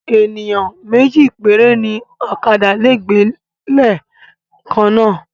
Ènìyàn méjì péré ni ókàdá lè gbé leè kan náà